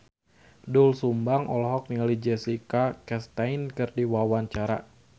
Doel Sumbang olohok ningali Jessica Chastain keur diwawancara